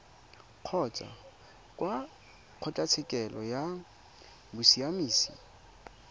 kgotsa kwa kgotlatshekelo ya bosiamisi